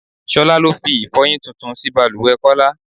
Ṣolá ló fi Ifọ́yín tuntun sí bàlùwẹ̀ Kọ́lá.